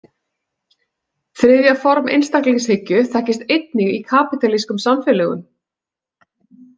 Þriðja form einstaklingshyggju þekkist einnig í kapítalískum samfélögum.